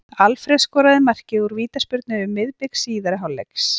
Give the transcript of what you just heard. Alfreð skoraði markið úr vítaspyrnu um miðbik síðari hálfleiks.